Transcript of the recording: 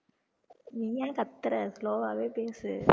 நீ ஏன் கத்தற slow வாவே பேசு